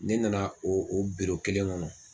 Ne nana o o kelen kɔnɔ.